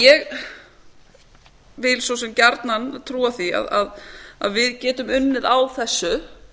ég vil svo sem gjarnan trúa því að við getum unnið á þessu